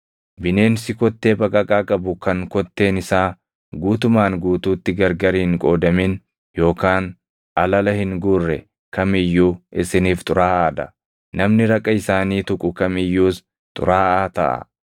“ ‘Bineensi kottee baqaqaa qabu kan kotteen isaa guutumaan guutuutti gargar hin qoodamin yookaan alala hin guurre kam iyyuu isiniif xuraaʼaa dha; namni raqa isaanii tuqu kam iyyuus xuraaʼaa taʼa.